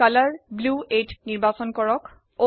colour নীল ৮ ৰঙ নিৰ্বাচন কৰক